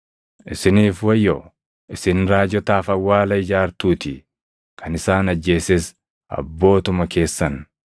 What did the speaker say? “Isiniif wayyoo! Isin raajotaaf awwaala ijaartuutii; kan isaan ajjeeses abbootuma keessan.